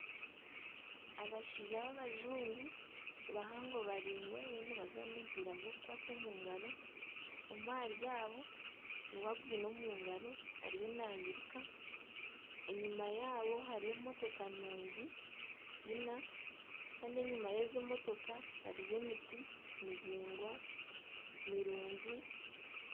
Abashaija babajungu bahango baraingwa bariyo nibazaana omupiira gw'okukwata omungaro, omwe ahari abo niwe agwine omu ngaro ariyo nairuka ,enyuma yaabo hariyo emotoka nungi ina kandi enyuma y'ezi emotoka hariyo emiti mihango mirungi.